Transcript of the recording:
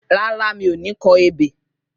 Rárá, mi ò ní kọ ebè